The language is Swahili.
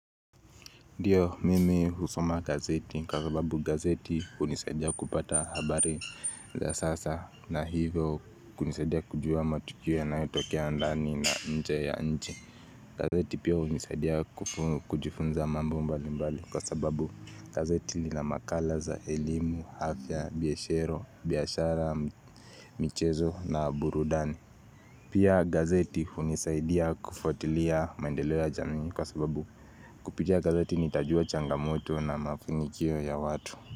Ndio mimi husoma gazeti kwa sababu gazeti hunisaidia kupata habari za sasa na hivyo kunisaidia kujua matukio yanayotokea ndani na nje ya nchi. Gazeti pia hunisaidia kujifunza mambo mbalimbali kwa sababu gazeti lina makala za elimu, afya, biashara, michezo na burudani. Pia gazeti hunisaidia kufuatilia maendeleo ya jamii kwa sababu kupitia gazeti nitajua changamoto na mafanikio ya watu.